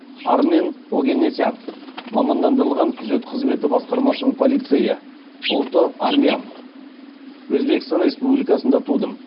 армен огенесян мамандандырылған күзет қызметі басқармасының полицейі ұлты армян өзбекстан республикасында тудым